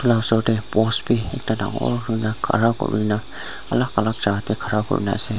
osor te post bhi dangor hona khara koi na alag alag jaga tey khara kori kena ase.